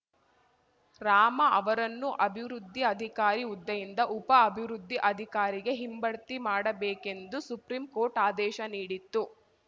ರಾಮ ಅವರನ್ನು ಅಭಿವೃದ್ಧಿ ಅಧಿಕಾರಿ ಹುದ್ದೆಯಿಂದ ಉಪ ಅಭಿವೃದ್ಧಿ ಅಧಿಕಾರಿಗೆ ಹಿಂಬಡ್ತಿ ಮಾಡಬೇಕೆಂದು ಸುಪ್ರೀಂ ಕೋರ್ಟ್ ಆದೇಶ ನೀಡಿತ್ತು